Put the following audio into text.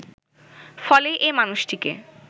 ফলে এ মানুষটিকে